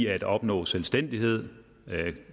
at opnå selvstændighed